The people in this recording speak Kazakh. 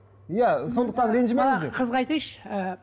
иә сондықтан ренжімеңіздер ана қызға айтайыншы ыыы